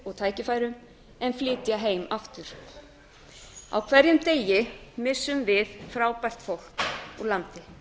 og tækifærum en flytja heim aftur á hverjum degi missum við frábært fólk úr landi